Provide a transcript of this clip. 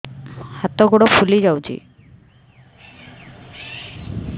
ହାତ ଗୋଡ଼ ଫୁଲି ଯାଉଛି